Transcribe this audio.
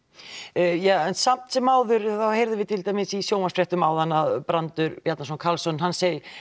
en samt sem áður þá heyrðum við til dæmis í sjónvarpsfréttum áðan að brandur Bjarnason Karlsson hann